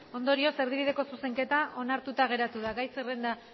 ondorioz erdibideko zuzenketa onartuta geratu da gai zerrenda